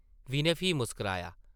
विनय फ्ही मुस्कराया ।